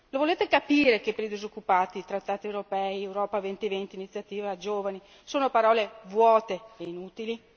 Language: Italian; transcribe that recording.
Lo volete capire che per i disoccupati i trattati europei, Europa 2020, l'Iniziativa giovani sono parole vuote e inutili?